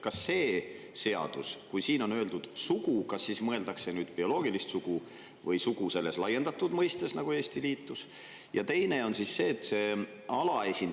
Kas selles seaduses, kui on öeldud "sugu", mõeldakse bioloogilist sugu või sugu selle laiendatud, nagu Eesti liitus?